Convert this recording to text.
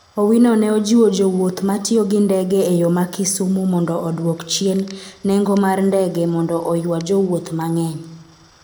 Owino ne ojiwo jowuoth ma tiyo gi ndege e yo ma Kisumu mondo odwok chien nengo mar ndege mondo oywa jowuoth mang'eny.